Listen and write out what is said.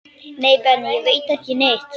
Nei Benni, ég veit ekki neitt.